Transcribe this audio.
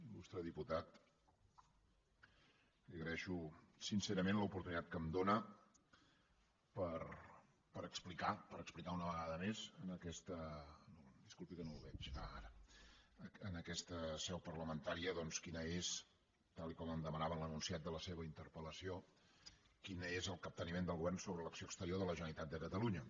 il·lustre diputat li agraeixo sincerament l’oportunitat que em dóna per explicar per explicar una vegada més en aquesta disculpi que no el veig ah ara seu parlamentària doncs quin és tal com em demanava en l’enunciat de la seva interpel·lació el capteniment del govern sobre l’acció exterior de la generalitat de catalunya